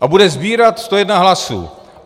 A bude sbírat 101 hlasů.